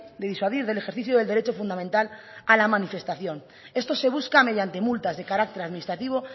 de disuadir del ejercicio del derecho fundamental a la manifestación esto se busca mediante multas de carácter administrativo